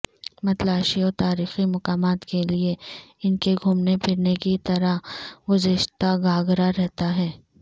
متلاشیوں تاریخی مقامات کے لئے ان کے گھومنے پھرنے کی طرح گزشتہ گاگرا رہتا ہے